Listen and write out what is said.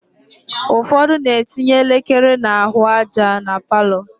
Ụfọdụ na-etinye elekere n'ahụaja na palọ